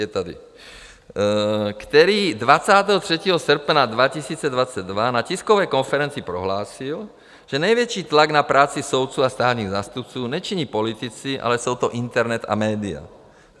... je tady, který 23. srpna 2022 na tiskové konferenci prohlásil, že největší tlak na práci soudců a státních zástupců nečiní politici, ale jsou to internet a média.